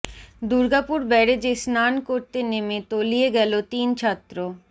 দুর্গাপুর ব্যারেজে স্নান করতে নেমে তলিয়ে গেল তিন ছাত্র